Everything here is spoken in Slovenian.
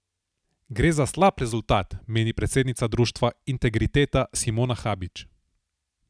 Gre za slab rezultat, meni predsednica Društva Integriteta Simona Habič.